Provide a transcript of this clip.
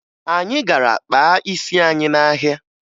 Anyị gara kpaa isi anyị n'ahịa